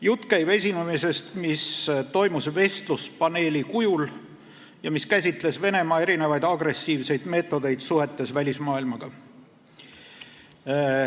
Jutt käib esinemisest, mis toimus vestluspaneeli kujul ja mis käsitles Venemaa agressiivseid meetodeid suhetes välismaailmaga.